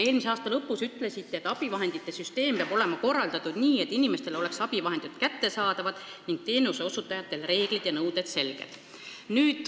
Eelmise aasta lõpus te ütlesite: süsteem peab olema korraldatud nii, et inimestele oleks abivahendid kättesaadavad ning teenuseosutajatel reeglid ja nõuded selged.